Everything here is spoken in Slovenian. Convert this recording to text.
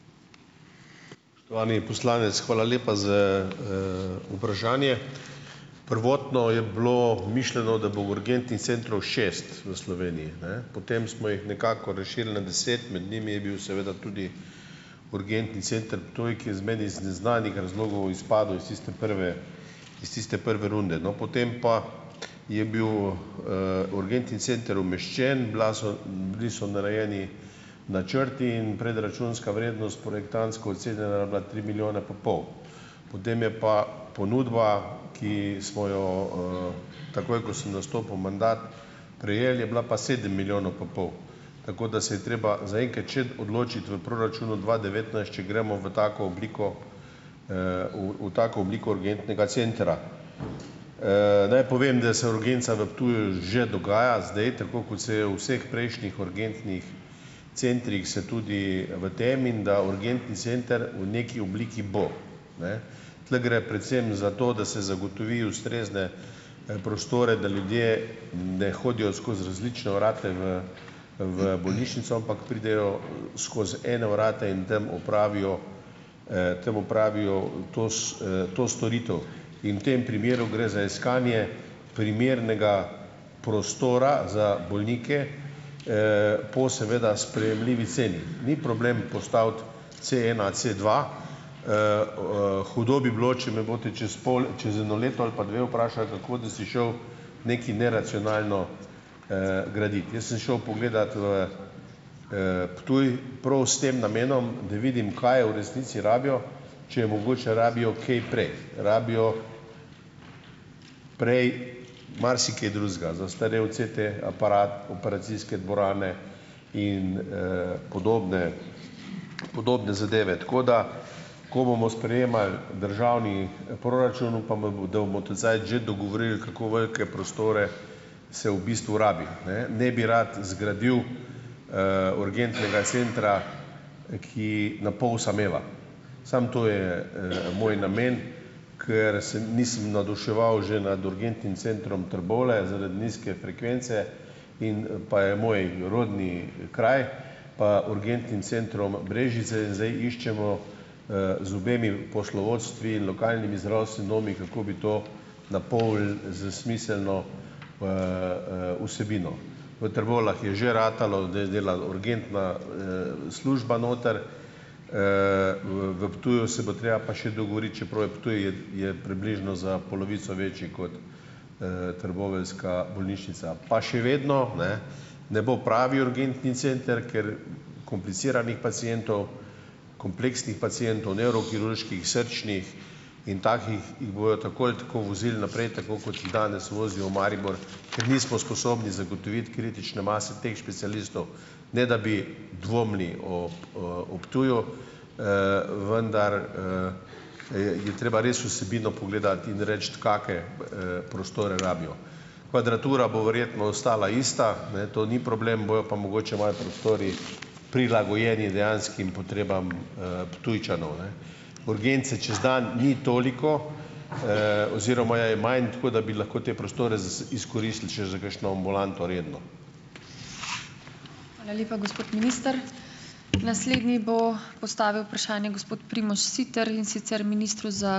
Spoštovani poslanec, hvala lepa za, vprašanje. Prvotno je bilo mišljeno, da bo urgentnih centrov šest v Sloveniji, ne. Potem smo jih nekako razširili na deset, med njimi je bil seveda tudi Urgentni center Ptuj, ki je zmeni iz neznanih razlogov izpadel iz tiste prve iz tiste prve runde. No, potem pa je bil, urgentni center umeščen, bila so bili so narejeni načrti in predračunska vrednost projektantsko ocenjena je bila tri milijone pa pol. Potem je pa ponudba, ki smo jo, takoj ko sem nastopil mandat, prejeli, je bila pa sedem milijonov pa pol, tako da se je treba zaenkrat še odločiti v proračunu dva devetnajst, če gremo v tako obliko, v v tako obliko urgentnega centra. Naj povem, da se urgenca v Ptuju že dogaja zdaj, tako kot se je v vseh prejšnjih urgentnih centrih, se tudi v tem, in da urgentni center v neki obliki bo. Ne? Tule gre predvsem za to, da se zagotovi ustrezne, prostore, da ljudje ne hodijo skozi različna vrata v v bolnišnico, ampak pridejo skozi ena vrata in tam opravijo, tam opravijo to storitev. In v tem primeru gre za iskanje primernega prostora za bolnike, po seveda sprejemljivi ceni. Ni problem postaviti Cena, Cdva. hudo bi blo, če me boste čez pol, čez eno leto ali pa dve vprašali: "Kako da si šel nekaj neracionalno, graditi?" Jaz sem šel pogledat v, Ptuj prav s tem namenom, da vidim kaj v resnici rabijo, če je mogoče, rabijo kaj prej. Rabijo prej marsikaj drugega. Zastarel CT-aparat, operacijske dvorane in, podobne, podobne zadeve. Tako da ko bomo sprejemali državni proračun, pa me bo, da bomo tudi cajt že dogovorili, kako velike prostore se v bistvu rabi. Ne? Ne bi rad zgradil, urgentnega centra, ki napol sameva. Samo to je, moj namen, ker se nisem navduševal že nad Urgentnim centrom Trbovlje zaradi nizke frekvence in pa je moj rodni kraj, Urgentnim centrom Brežice, zdaj iščemo, z obema poslovodstvoma, lokalnimi zdravstvenimi domovi, kako bi to napolnili s smiselno, vsebino. V Trbovljah je že ratalo, zdaj dela urgentna, služba noter, v v Ptuju se bo treba pa še dogovoriti, čeprav je Ptuj, je je približno za polovico večji kot, trboveljska bolnišnica. Pa še vedno ne ne bo pravi urgentni center, ker kompliciranih pacientov, kompleksnih pacientov, nevrokirurških, srčnih in takih, jih bojo tako ali tako vozili naprej, tako kot jih danes vozijo v Maribor, ker nismo sposobni zagotoviti kritične mase teh specialistov. Ne da bi dvomili o, o Ptuju, vendar, je treba res vsebino pogledati in reči, kake, prostore rabijo. Kvadratura bo verjetno ostala ista, ne. To ni problem. Bojo pa mogoče malo prostori prilagojeni dejanskim potrebam, Ptujčanov, ne. Urgence čez dan ni toliko, oziroma je je manj, tako da bi lahko te prostore z s izkoristili še za kakšno ambulanto redno.